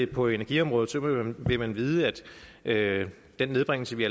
på energiområdet vil man vide at den nedbringelse vi